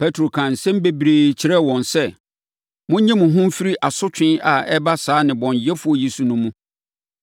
Petro kaa nsɛm bebree kyerɛɛ wɔn sɛ, “Monnye mo ho mfiri asotwe a ɛreba saa nnebɔneyɛfoɔ yi so no mu.”